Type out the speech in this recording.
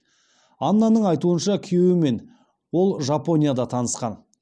аннаның айтуынша күйеуімен ол жапонияда танысқан